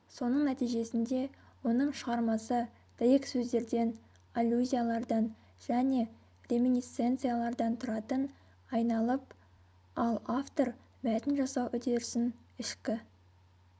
соның нәтижесінде оның шығармасы дәйексөздерден аллюзиялардан және реминисценциялардан тұратын айналып ал автор мәтін жасау үдерісін ішкі